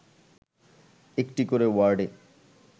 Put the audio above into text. একটি করে ওয়ার্ডে